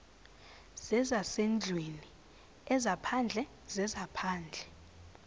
zezasendlwini ezaphandle zezaphandle